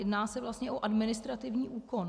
Jedná se vlastně o administrativní úkon.